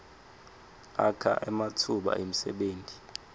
akha ematfuba emsebenti